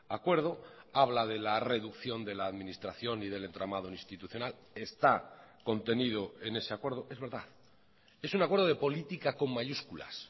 acuerdo habla de la reducción de la administración y del entramado institucional está contenido en ese acuerdo es verdad es un acuerdo de política con mayúsculas